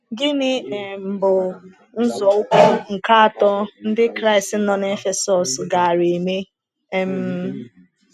Gịnị um bụ nzọụkwụ nke atọ ndị Kraịst nọ n’Efesọs gaara eme? um